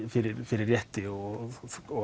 fyrir fyrir rétti og